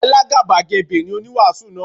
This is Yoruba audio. Alágàbàgebè ni oníwàásù náà.